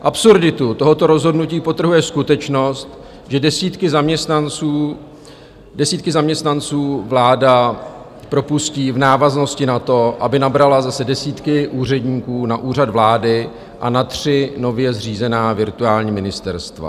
Absurditu tohoto rozhodnutí podtrhuje skutečnost, že desítky zaměstnanců vláda propustí v návaznosti na to, aby nabrala zase desítky úředníků na Úřad vlády a na tři nově zřízená virtuální ministerstva.